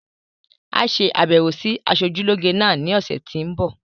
Á ṣe àbẹwò sí asojúlógé náà ní ọ̀sẹ̀ tí ń bi